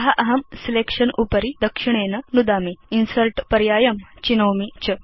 अत अहं सिलेक्शन उपरि दक्षिणेन नुदामि इन्सर्ट् पर्यायं चिनोमि च